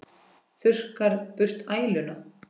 Þurrkar burt æluna.